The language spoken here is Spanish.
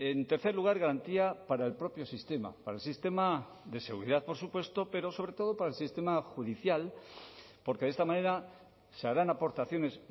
en tercer lugar garantía para el propio sistema para el sistema de seguridad por supuesto pero sobre todo para el sistema judicial porque de esta manera se harán aportaciones